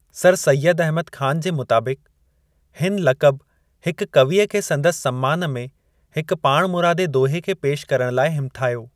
Sir Syed Ahmad Khan जे मुताबिक़, हिन लक़ब हिकु कवीअ खे संदसि सम्मान में हिक पाणमुरादे दोहे खे पेशि करण लाइ हिमथायो।